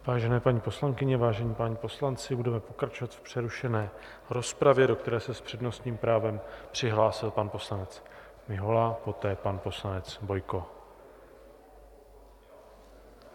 Vážené paní poslankyně, vážení páni poslanci, budeme pokračovat v přerušené rozpravě, do které se s přednostním právem přihlásil pan poslanec Mihola, poté pan poslanec Bojko.